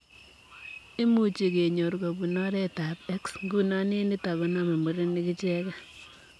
Imuchii kenyoor kobunu oreet ap X ,nguno eng nitok koname murenik ichegei.